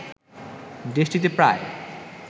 দেশটিতে প্রায়